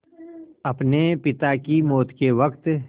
अपने पिता की मौत के वक़्त